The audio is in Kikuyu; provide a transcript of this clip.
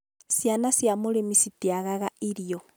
ciana cia mũrĩmi citiagaga irio